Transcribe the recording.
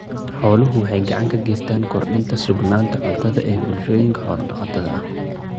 Xooluhu waxay gacan ka geystaan ??kordhinta sugnaanta cuntada ee bulshooyinka xoolo-dhaqatada ah.